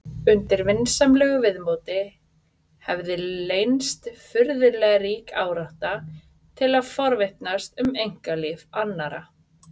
Undir vinsamlegu viðmóti hefði leynst furðulega rík árátta til að forvitnast um einkalíf annarra.